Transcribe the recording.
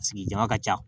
Sigi jama ka ca